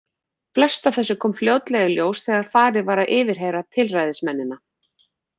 Flest af þessu kom fljótlega í ljós þegar farið var að yfirheyra tilræðismennina.